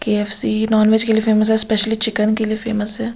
KFC. Non veg के लिए famous है स्पेशली चिकन के लिए फेमस है।